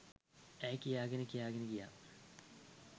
ඈ කියාගෙන කියාගෙන ගියා.